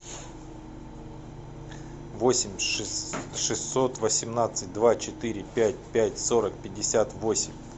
восемь шестьсот восемнадцать два четыре пять пять сорок пятьдесят восемь